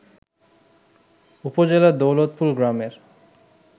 উপজেলার দৌলতপুর গ্রামের